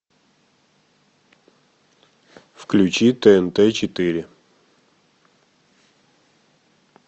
включи тнт четыре